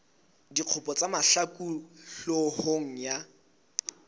dikgopo tsa mahlaku hloohong ya